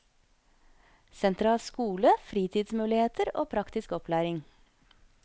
Senteret har skole, fritidsmuligheter og praktisk opplæring.